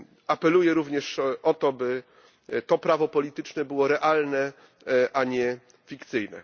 Apeluję również o to, by to prawo polityczne było realne, a nie fikcyjne.